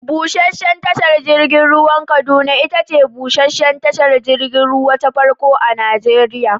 Busheshen tashar jirgin ruwan Kaduna itace busheshen tashar jirgin ruwa ta farko a Najeriya.